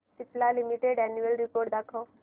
Cipla limited annual report दाखव